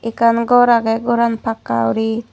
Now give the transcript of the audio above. ekkan gor ageh goran pakka gori.